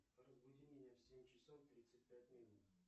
разбуди меня в семь часов тридцать пять минут